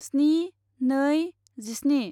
स्नि नै जिस्नि